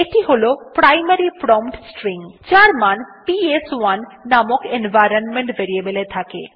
এটি হল primary prompt string যার মান পিএস1 নামক এনভাইরনমেন্ট ভেরিয়েবল এ থাকে